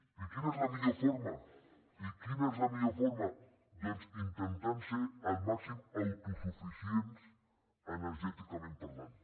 i quina és la millor forma i quina és la millor forma doncs intentant ser el màxim d’autosuficients energèticament parlant